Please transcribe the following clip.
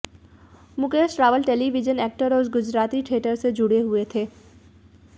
Mukesh Rawal television actor और Gujarati theatre से जुड़े हुए थे